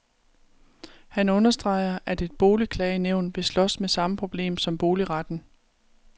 Han understreger, at et boligklagenævn vil slås med samme problem som boligretten.